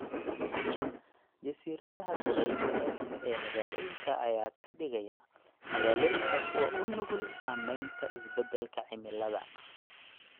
Jasiiradaha kulaylka leh ee magaalooyinka ayaa ka dhigaya magaalooyinka kuwo u nugul saameynta isbeddelka cimilada.